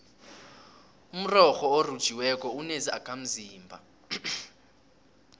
umrorho orhutjhiweko unezakhamzimba